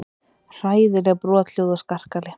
Hræðileg brothljóð og skarkali.